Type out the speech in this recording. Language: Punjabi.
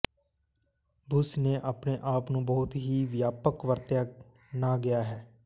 ਬੁਸ਼ ਨੇ ਆਪਣੇ ਆਪ ਨੂੰ ਬਹੁਤ ਹੀ ਵਿਆਪਕ ਵਰਤਿਆ ਨਾ ਗਿਆ ਹੈ